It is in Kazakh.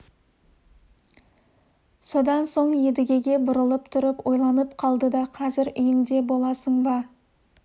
содан соң едігеге бұрылып тұрып ойланып қалды да қазір үйіңде боласың ба